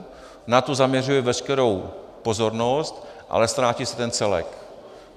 Na to zaměřuje veškerou pozornost, ale ztrácí se ten celek.